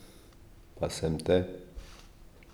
Pa sem te!